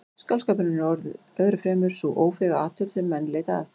Skáldskapurinn er öðru fremur sú ófeiga athöfn sem menn leita að.